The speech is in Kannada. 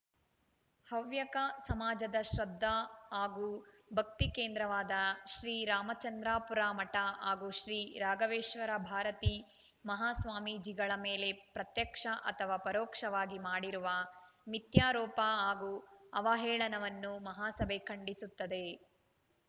ಹವ್ಯಕ ಸಮಾಜದ ಶ್ರದ್ಧಾ ಹಾಗೂ ಭಕ್ತಿ ಕೇಂದ್ರವಾದ ಶ್ರೀ ರಾಮಚಂದ್ರಾಪುರ ಮಠ ಹಾಗೂ ಶ್ರೀ ರಾಘವೇಶ್ವರ ಭಾರತೀ ಮಹಾಸ್ವಾಮೀಜಿಗಳ ಮೇಲೆ ಪ್ರತ್ಯಕ್ಷ ಅಥವಾ ಪರೋಕ್ಷವಾಗಿ ಮಾಡಿರುವ ಮಿಥ್ಯಾರೋಪ ಹಾಗೂ ಅವಹೇಳನವನ್ನು ಮಹಾಸಭೆ ಖಂಡಿಸುತ್ತದೆ